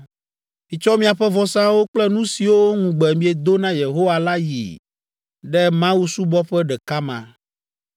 Mitsɔ miaƒe vɔsawo kple nu siwo ŋugbe miedo na Yehowa la yi ɖe Mawusubɔƒe ɖeka ma.